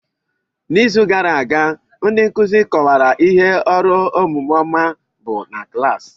N'izu gara aga ndị nkuzi kọwara ihe ọrụ omume ọma bụ na klaasị.